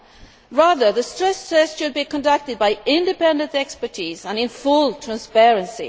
Instead, the stress tests should be conducted by independent experts and in full transparency.